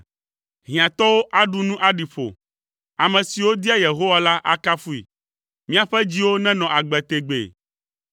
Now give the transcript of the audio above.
Hiãtɔwo aɖu nu aɖi ƒo; ame siwo dia Yehowa la akafui. Miaƒe dziwo nenɔ agbe tegbee!